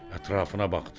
Ətrafına baxdı.